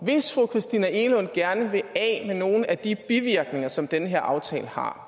hvis fru christina egelund gerne vil af med nogle af de bivirkninger som den her aftale har